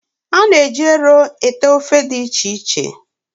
A na-eji ero ete ofe dị iche iche